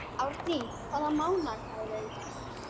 Árný, hvaða mánaðardagur er í dag?